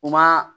U ma